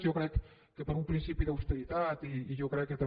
jo crec que per un principi d’austeritat i jo crec que també